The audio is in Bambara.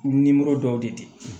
dɔw de